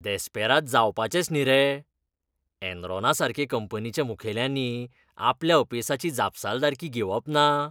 देस्पेराद जावपाचेंच न्ही रे, एनरॉनासारके कंपनीच्या मुखेल्यांनी आपल्या अपेसाची जापसालदारकी घेवप ना?